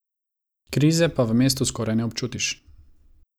Krize pa v mestu skoraj ne občutiš.